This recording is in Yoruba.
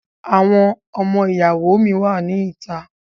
Àwọn ọmọ ìyàwó mi wà ní ìta.